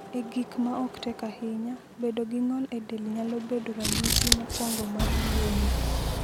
E gik ma ok tek ahinya, bedo gi ng’ol e del nyalo bedo ranyisi mokwongo mar tuwono.